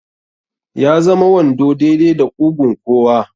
Ya zama wando daidai da ƙugun kowa.